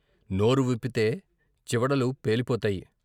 నోరు విప్పితే చివడలు పేలిపోతాయి.